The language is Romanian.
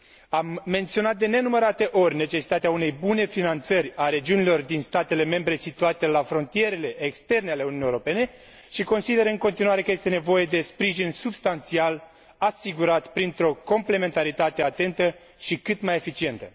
Am menționat de nenumărate ori necesitatea unei bune finanțări a regiunilor din statele membre situate la frontierele externe ale Uniunii Europene și consider în continuare că este nevoie de sprijin substanțial, asigurat printr o complementaritate atentă și cât mai eficientă.